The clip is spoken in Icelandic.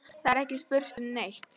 Það er ekki spurt um neitt.